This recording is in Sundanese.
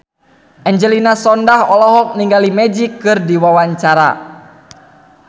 Angelina Sondakh olohok ningali Magic keur diwawancara